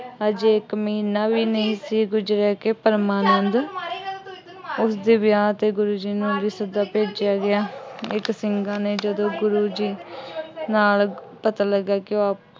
ਹਜੇ ਇੱਕ ਮਹੀਨਾ ਵੀ ਨਹੀਂ ਸੀ ਗੁਜ਼ਰਿਆ ਕਿ ਪਰਮਾਨੰਦ ਉਸਦੇ ਵਿਆਹ ਤੇ ਗੁਰੂ ਜੀ ਨੂੰ ਵੀ ਸੱਦਾ ਭੇਜਿਆ ਗਿਆ। ਇਸ ਸਿੰਘਾਂ ਨੇ ਜਦੋਂ ਗੁਰੂ ਜੀ ਨਾਲ ਪਤਾ ਲੱਗਾ ਕਿ ਉਹ